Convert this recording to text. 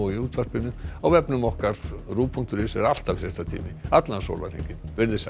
útvarpinu á vefnum okkar er alltaf fréttatími allan sólarhringinn veriði sæl